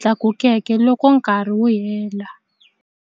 tlakukeke loko nkarhi wu hela.